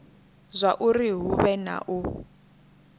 zwauri hu vhe na u